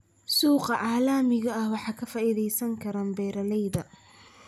Suuqa caalamiga ah waxa ka faa'iidaysan kara beeralayda.